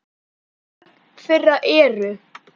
Börn þeirra eru